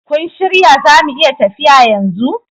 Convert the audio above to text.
Kun shirya zamu iya tafiya yanzu?